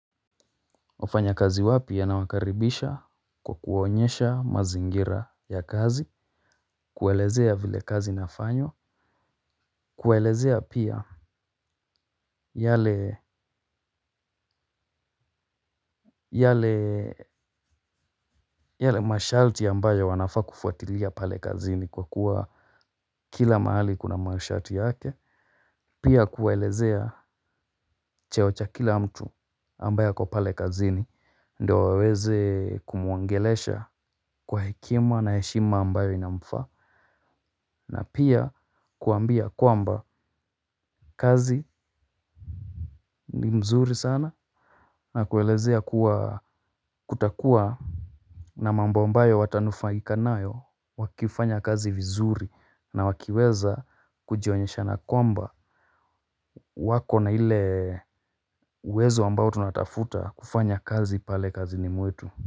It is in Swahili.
Wafanya kazi wapi anawakaribisha kwa kuwaonyesha mazingira ya kazi. Kuelezea vile kazi inafanywa. Kuelezea pia yale yale yale mashalti ambayo wanafaa kufuatilia pale kazini kwa kuwa kila mahali kuna mashalti yake. Pia kuwaelezea cheo cha kila mtu ambaye ako pale kazini ndio waweze kumuongelesha kwa hekima na heshima ambayo inamfaa. Na pia kuambia kwamba kazi ni mzuri sana. Na kuelezea kutakuwa na mambo ambayo watanufaika nayo. Wakifanya kazi vizuri na wakiweza kujionyesha na kwamba wako na ile uwezo ambao tunatafuta kufanya kazi pale kazini mwetu.